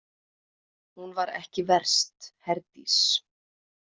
Hún var ekki verst, Herdís.